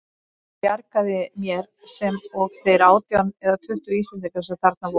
Það bjargaði mér, sem og þeir átján eða tuttugu Íslendingar sem þarna voru.